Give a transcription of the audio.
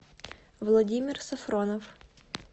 владимир сафронов